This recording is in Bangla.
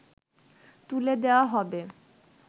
তুলে দেয়া হবে